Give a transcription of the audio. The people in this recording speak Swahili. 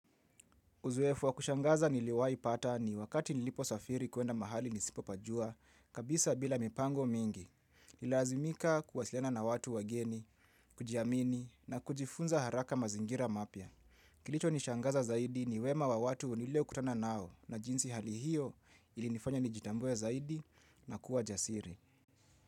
Uzoefu wa kushangaza niliwai pata ni wakati nilipo safiri kuenda mahali nisipopajua, kabisa bila mipango mingi. Nililazimika kuwasiliana na watu wageni, kujiamini na kujifunza haraka mazingira mapya. Kilichonishangaza zaidi ni wema wa watu niliokutana nao na jinsi hali hiyo ilinifanya nijitambue zaidi na kuwa jasiri.